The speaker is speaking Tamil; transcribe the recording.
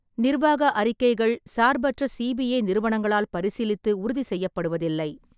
நிர்வாக அறிக்கைகள் சார்பற்ற சிபிஏ நிறுவனங்களால் பரிசீலித்து உறுதிசெய்யப்படுவதில்லை.